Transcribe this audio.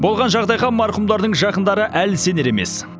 болған жағдайға марқұмдардың жақындары әлі сенер емес